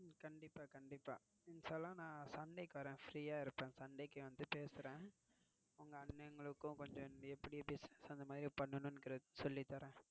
கண்டிப்பா, கண்டிப்பா. இன்ஷா அல்லாஹ் நான் Sunday க்கு வரேன். free ஆஹ் இருப்பேன் Sunday வந்திட்டு பேசுறேன். உங்க அண்ணன்களும் கொஞ்சம் எப்படி பிசினஸ் அந்த மாதிரி பண்னும்னுக்கிறது சொல்லி தாரேன்.